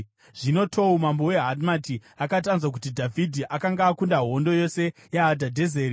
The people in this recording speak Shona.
Zvino Tou mambo weHamati akati anzwa kuti Dhavhidhi akanga akunda hondo yose yaHadhadhezeri,